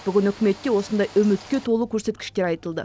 бүгін үкіметте осындай үмітке толы көрсеткіштер айтылды